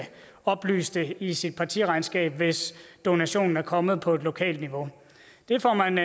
oplyse om det i sit partiregnskab hvis donationen er kommet på lokalt niveau det får man